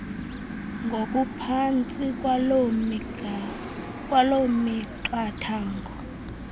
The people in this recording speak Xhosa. ngokuphantsi kwaloo miqathango